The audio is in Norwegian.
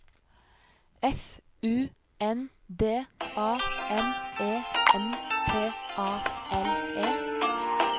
F U N D A M E N T A L E